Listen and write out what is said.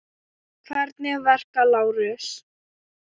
Hvernig verka, Lárus?